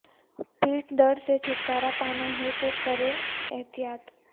پیٹھ درد سے چھٹکارا پانا ہے تو کریں احتیاط